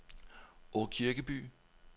Åkirkeby